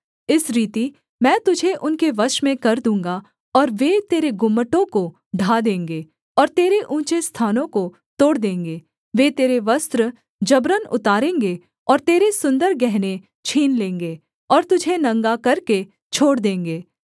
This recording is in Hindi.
इस रीति मैं तुझे उनके वश में कर दूँगा और वे तेरे गुम्मटों को ढा देंगे और तेरे ऊँचे स्थानों को तोड़ देंगे वे तेरे वस्त्र जबरन उतारेंगे और तेरे सुन्दर गहने छीन लेंगे और तुझे नंगा करके छोड़ देंगे